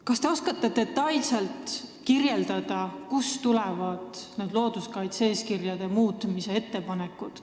Kas te oskate detailselt kirjeldada, kust tulevad need kaitse-eeskirjade muutmise ettepanekud?